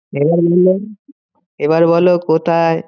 এবার বলো কোথায়?